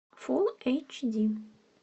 фулл эйч ди